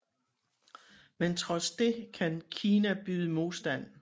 Men trods det kan Kina byde modstand